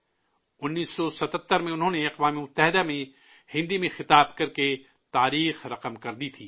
1977 میں انہوں نے اقوام متحدہ کو ہندی میں مخاطب کرکے تاریخ رقم کی تھی